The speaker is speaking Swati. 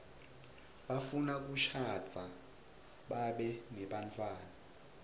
bafuna kushadza babe nebantfwana